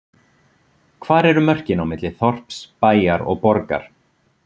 Hvar eru mörkin á milli þorps, bæjar og borgar?